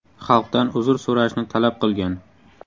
Xalqdan uzr so‘rashni talab qilgan.